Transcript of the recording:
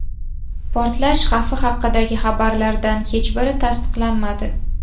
Portlash xavfi haqidagi xabarlardan hech biri tasdiqlanmadi.